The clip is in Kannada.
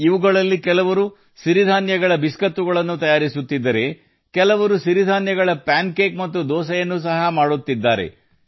ಇವುಗಳಲ್ಲಿ ಕೆಲವರು ರಾಗಿ ಕುಕೀಸ್ ತಯಾರಿಸುತ್ತಿದ್ದರೆ ಕೆಲವರು ರಾಗಿ ಪ್ಯಾನ್ ಕೇಕ್ ಗಳು ಮತ್ತು ದೋಸೆಯನ್ನು ಸಹ ಮಾಡುತ್ತಿದ್ದಾರೆ